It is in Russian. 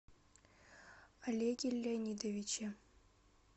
олеге леонидовиче